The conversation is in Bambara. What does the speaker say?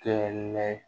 Kɛ